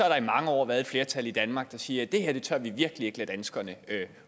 der i mange år har været et flertal i danmark der siger at det her tør vi virkelig ikke lade danskerne